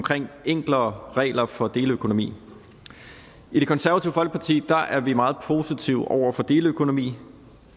enklere regler for deleøkonomi i det konservative folkeparti er vi meget positive over for deleøkonomi